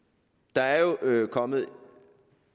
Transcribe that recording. der er jo kommet